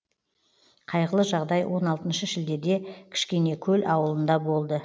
қайғылы жағдай он алтыншы шілдеде кішкенекөл ауылында болды